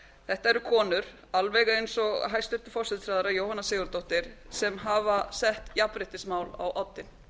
þetta eru konur alveg eins og hæstvirtur forsætisráðherra jóhanna sigurðardóttir sem hafa sett jafnréttismál á oddinn